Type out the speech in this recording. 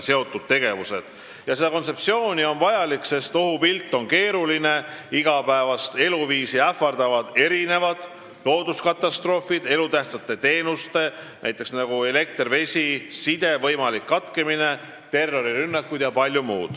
See kontseptsioon on vajalik, sest ohupilt on keeruline, igapäevast eluviisi ähvardavad looduskatastroofid, elutähtsate teenuste, näiteks elekter, vesi ja side võimalik katkemine, terrorirünnakud jpm.